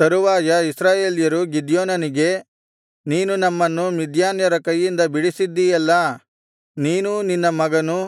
ತರುವಾಯ ಇಸ್ರಾಯೇಲ್ಯರು ಗಿದ್ಯೋನನಿಗೆ ನೀನು ನಮ್ಮನ್ನು ಮಿದ್ಯಾನ್ಯರ ಕೈಯಿಂದ ಬಿಡಿಸಿದ್ದೀಯಲ್ಲಾ ನೀನೂ ನಿನ್ನ ಮಗನೂ